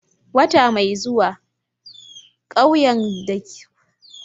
Wata mai zuwa, ƙauyen da suka yi ritaya suna shirin aikin lambun.